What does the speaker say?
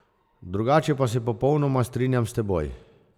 Drugače pa se popolnoma strinjam s teboj.